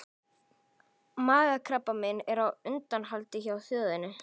Magakrabbamein er á undanhaldi hjá þjóðinni.